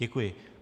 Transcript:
Děkuji.